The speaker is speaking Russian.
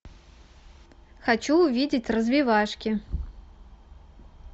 хочу увидеть развивашки